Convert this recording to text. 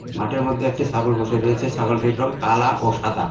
মাঠের মধ্যে একটি ছাগল বসে রয়েছে ছাগলটির রং কালা ও সাদা।